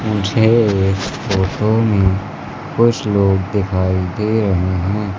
मुझे इस फोटो में कुछ लोग दिखाई दे रहे हैं।